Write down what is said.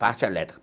Parte elétrica.